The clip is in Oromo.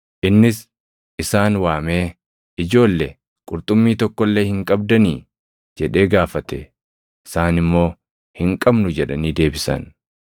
Innis isaan waamee, “Ijoolle, qurxummii tokko illee hin qabdanii?” jedhee gaafate. Isaan immoo, “Hin qabnu” jedhanii deebisan.